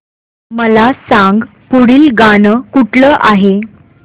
मला सांग पुढील गाणं कुठलं आहे